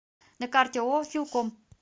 на карте ооо филком